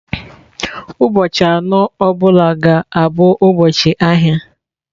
Ụbọchị anọ ọ bụla ga-abụ ụbọchị ahịa.